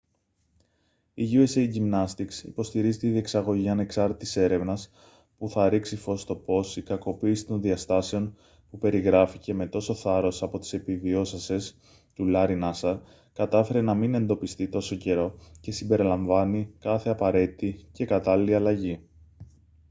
η usa gymnastics υποστηρίζει τη διεξαγωγή ανεξάρτητης έρευνας που θα ρίξει φως στο πώς η κακοποίηση των διαστάσεων που περιγράφηκε με τόσο θάρρος από τις επιβιώσασες του larry nassar κατάφερε να μην εντοπιστεί τόσο καιρό και συμπεριλαμβάνει κάθε απαραίτητη και κατάλληλη αλλαγή